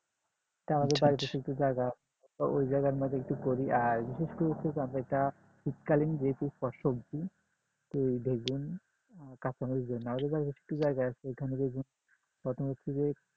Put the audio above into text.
তা আমাদের বাড়িতে ওই জায়গার মধ্যে একটু করি আর বিশেষ করে যেটা শীত কালীন যে শাকসবজি তো এই বেগুন, কাঁচামরিচ, ধৈন্যাপাতা আমাদের একটু জায়গা আছে ওইখানে বেগুন